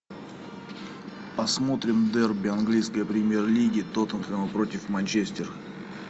посмотрим дерби английской премьер лиги тоттенхэма против манчестер